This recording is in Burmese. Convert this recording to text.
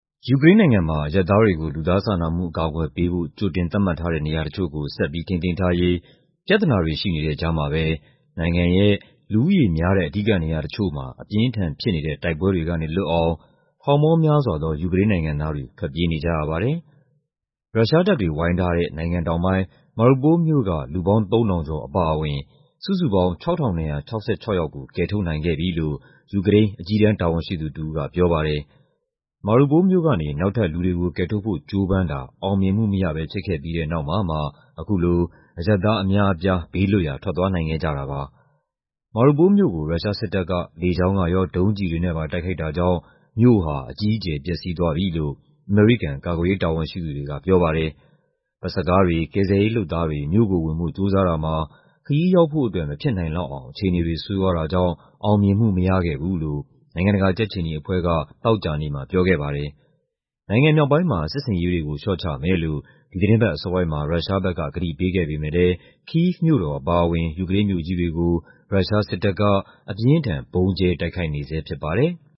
ယူကရိန်းနိုင်ငံမှာ အရပ်သားတွေကို လူသားစာနာမှု အကာအကွယ်ပေးဖို့ ကြိုတင်သတ်မှတ်ထားတဲ့ နေရာတချို့ကို ဆက်ပြီး ထိန်းသိမ်းထားရေး ပြဿနာတွေ ရှိနေတဲ့ကြားမှာပဲ နိုင်ငံရဲ့ လူဦးရေများတဲ့ အဓိကနေရာတချို့မှာ အပြင်းအထန်ဖြစ်နေတဲ့ တိုက်ပွဲတွေကနေ လွတ်အောင် ထောင်ပေါင်းများစွာသော ယူကရိန်းနိုင်ငံသားတွေ ထွက်ပြေးနေကြရပါတယ်။ ရုရှားတပ်တွေ ဝိုင်းထားတဲ့ နိုင်ငံတောင်ပိုင်း Mariupol မြို့က လူပေါင်း ၃,၀၀၀ ကျော် အပါအဝင် စုစုပေါင်း ၆,၂၆၆ ယောက်ကို ကယ်ထုတ်နိုင်ခဲ့ပြီလို့ ယူကရိန်း အကြီးတန်း တာဝန်ရှိသူတဦးက ပြောပါတယ်။ Mariupol မြို့ကနေ နောက်ထပ်လူတွေကို ကယ်ထုတ်ဖို့ ကြိုးပမ်းတာ အောင်မြင်မှုမရဘဲ ဖြစ်ခဲ့ပြီးတဲ့နောက်မှာမှ အခုလို အရပ်သားအများအပြား ဘေးလွတ်ရာ ထွက်သွားနိုင်ခဲ့ကြတာပါ။ Mariupol မြို့ကို ရုရှားစစ်တပ်က လေကြောင်းကရော ဒုံးကျည်တွေနဲ့ပါ တိုက်ခိုက်တာကြောင့် မြို့ဟာ အကြီးအကျယ် ပျက်စီးသွားပြီလို့ အမေရိကန် ကာကွယ်ရေး တာဝန်ရှိသူတွေက ပြောပါတယ်။ ဘတ်စ်ကားတွေ၊ ကယ်ဆယ်ရေးလုပ်သားတွေ မြို့ကိုဝင်ဖို့ ကြိုးစားတာမှာ ခရီးရောက်ဖို့အတွက် မဖြစ်နိုင်လောက်အောင် အခြေအနေတွေ ဆိုးရွားတာကြောင့် အောင်မြင်မှု မရခဲ့ဘူးလို့ နိုင်ငံတကာ ကြက်ခြေနီအဖွဲ့က သောကြာနေ့မှာ ပြောခဲ့ပါတယ်။ နိုင်ငံမြောက်ပိုင်းမှာ စစ်ဆင်ရေးတွေကို လျှော့ချမယ်လို့ ဒီသီတင်းပတ်အစောပိုင်းမှာ ရုရှားဘက်က ကတိပေးခဲ့ပေမယ့်လည်း Kyiv မြို့တော် အပါအဝင် ယူကရိန်းမြို့ကြီးတွေကို ရုရှားစစ်တပ်က အပြင်းအထန် ဗုံးကြဲတိုက်ခိုက်နေဆဲ ဖြစ်ပါတယ်။